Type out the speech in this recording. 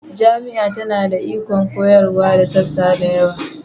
Jami'a tana da ikon koyarwa da sassa da yawa